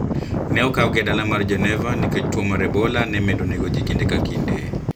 Ne okawgi e dala mar Geneva nikech tuo mar Ebola ne medo nego ji kinde ka kinde